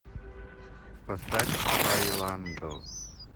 поставь байландо